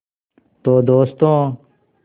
तो दोस्तों